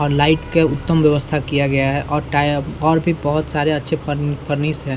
और लाइट का उत्तम व्यवस्था किया गया है और टायप और भी बहुत सारे अच्छे-अच्छे फर्न फर्निश है।